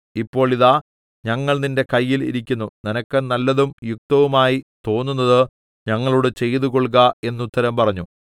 ഇപ്പോൾ ഇതാ ഞങ്ങൾ നിന്റെ കയ്യിൽ ഇരിക്കുന്നു നിനക്ക് നല്ലതും യുക്തവുമായി തോന്നുന്നത് ഞങ്ങളോട് ചെയ്തുകൊൾക എന്ന് ഉത്തരം പറഞ്ഞു